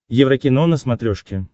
еврокино на смотрешке